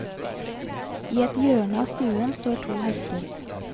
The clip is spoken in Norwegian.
I et hjørne av stuen står to hester.